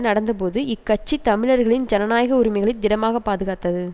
நடந்தபோது இக்கட்சி தமிழர்களின் ஜனநாயக உரிமைகளை திடமாக பாதுகாத்தது